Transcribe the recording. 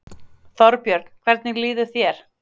Þorbjörn: Hvernig líður þér?